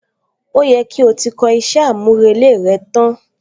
Ó yẹ kí o ti kọ iṣẹ́ àmúrelé rẹ tán!